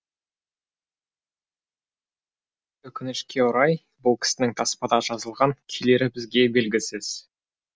өкінішке орай бұл кісінің таспада жазылған күйлері бізге белгісіз